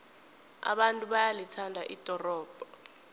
abantu bayalithanda ldorobho